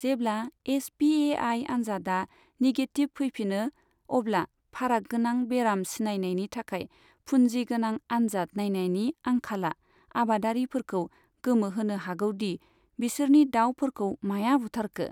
जेब्ला H P A I आनजादा negative फैफिनो, अब्ला फाराग गोनां बेराम सिनायनायनि थाखाय फुनजि गोनां आनजाद नायनायनि आंखाला आबादारिफोरखौ गोमोहोनो हागौ दि बिसोरनि दाउफोरखौ माया बुथारखो।